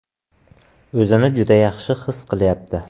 O‘zini juda yaxshi his qilyapti.